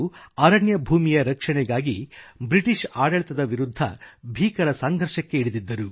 ಅರಣ್ಯ ಭೂಮಿಯ ರಕ್ಷಣೆಗಾಗಿ ಬ್ರಿಟಿಷ್ ಆಡಳಿತದ ವಿರುದ್ಧ ಭೀಕರ ಸಂಘರ್ಷಕ್ಕೆ ಇಳಿದಿದ್ದವನು